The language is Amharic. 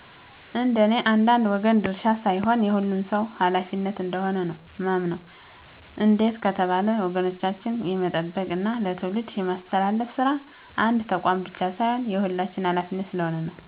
እንደኔ የአንድ ወገን ድርሻ ሳይሆን የሁሉም ሰው ኀላፊነት እንደሆነ ነው ማምነው እንዴት ከተባለ ወጎቻችንን የመጠበቅ እና ለትውልድ የማስተላለፍ ስራ የአንድ ተቋም ብቻ ሳይሆን የሁላችንም ኀላፊነት ስለሆነ ነው።